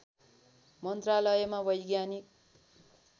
मन्त्रालयमा वैज्ञानिक